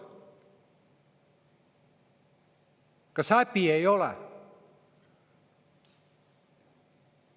Kas häbi ei ole?